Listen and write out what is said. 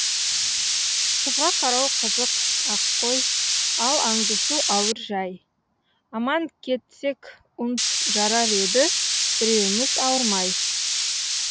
қызға қарау қызық ақ қой ал аңдысу ауыр жәй аман кетсек жарар еді біреуіміз ауырмай